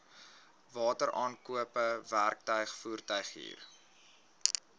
wateraankope werktuig voertuighuur